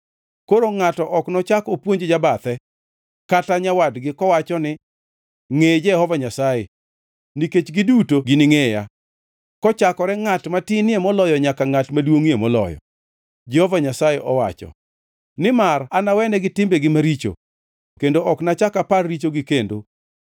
Koro ngʼato ok nochak opuonj jabathe, kata nyawadgi kowacho ni, ‘Ngʼe Jehova Nyasaye,’ nikech giduto giningʼeya, kochakore ngʼat matinie moloyo nyaka ngʼat maduongʼie moloyo,” Jehova Nyasaye owacho. “Nimar anawenegi timbegi maricho kendo ok anachak apar richogi kendo.”